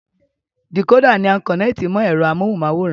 Dìkódà ni a kọ̀nẹ́ẹ̀tì mọ ẹ̀rọ amóhunmáwòrán